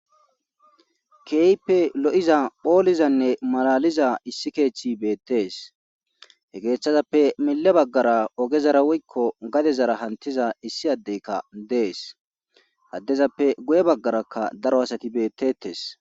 kehipe lo7iza phoolizanne malaliza issi keeththi beettees he geeththazappe mille baggara ogezara woykko gadezara hantiza issi addeykka dees addezappe guye baggarakka daro asati beettetes